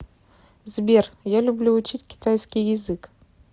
сбер я люблю учить китайский язык